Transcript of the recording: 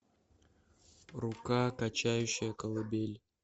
рука качающая колыбель